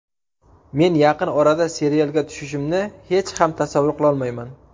Men yaqin orada serialga tushishimni hech ham tasavvur qilolmayman.